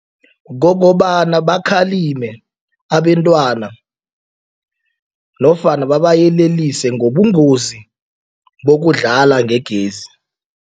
Kokobana bakhalime abentwana nofana babayelelise ngobungozi bokudlala ngegezi.